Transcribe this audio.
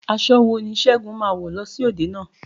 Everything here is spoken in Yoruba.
Aṣọ wo ni Segun máa wọ̀ lọ sí òde náà?